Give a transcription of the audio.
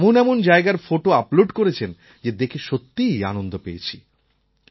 এমন এমন জায়গার ফোটো আপলোড করেছেন যে দেখে সত্যিই আনন্দ পেয়েছি